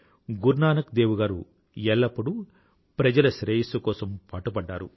గురునానక్ దేవ్ గారు ఎల్లప్పుడూ ప్రజల శ్రేయస్సు కోసం పాటుపడ్డారు